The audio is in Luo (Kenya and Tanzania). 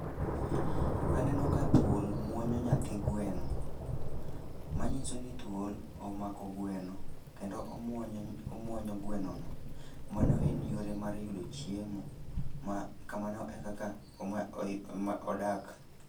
Aneno ka thuol muonyo nyathi gweno, manyiso ni thuol omako gweno kendo omuonyo ny omuonyo gweno no. Mano en yore mar yudo chiemo, ma kamano e kaka oma oyu oma odak.